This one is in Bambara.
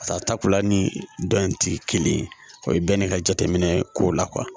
Pasa takuya ni dɔn in ti kelen ye o ye bɛn de ka jateminɛ ko la